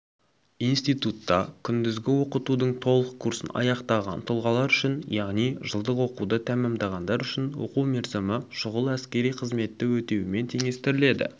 институтта күндізгі оқытудың толық курсын аяқтаған тұлғалар үшін яғни жылдық оқуды тәмәмдағандар үшін оқу мерзімі шұғыл әскери қызметті өтуімен теңестіріледі